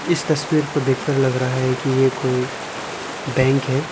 इस तस्वीर को देखकर लग रहा है कि यह कोई बैंक है।